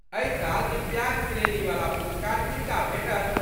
एहि साल दिव्याङ्ग श्रेणीवला पुरस्कार किनका भेटल?